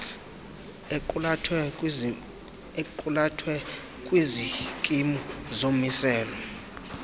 equlathwe kwizikimu zomiselo